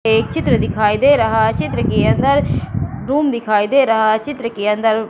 एक चित्र दिखाई दे रहा है। चित्र के अंदर रूम दिखाई दे रहा है चित्र के अंदर--